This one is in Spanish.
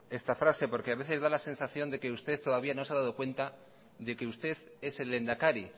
esta frase porque a veces me da la sensación de que usted todavía no se ha dado cuenta de que usted es el lehendakari